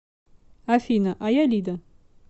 афина а я лида